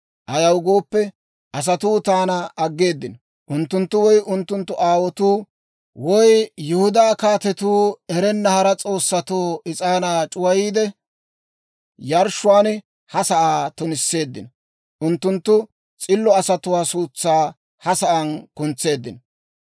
Ayaw gooppe, asatuu taana aggeeddino; unttunttu woy unttunttu aawotuu, woy Yihudaa kaatetuu erenna hara s'oossatoo is'aanaa c'uwayiide yarshshiyaawaan ha sa'aa tunisseeddino. Unttunttu s'illo asatuwaa suutsaa ha sa'aan kuntseeddino.